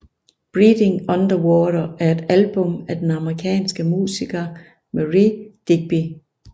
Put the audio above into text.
Breathing Underwater er et album af den amerikanske musiker Marié Digby